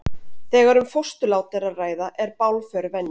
Þegar um fósturlát er að ræða er bálför venja.